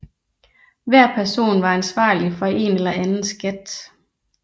Hver person var ansvarlig for en eller anden skat